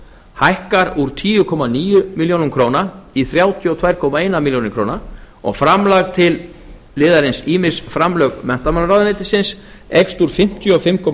hækkar úr tíu komma níu milljónir króna í þrjátíu og tvö komma eina milljón króna og framlag til liðarins ýmis framlög menntamálaráðuneytisins eykst úr fimmtíu og fimm komma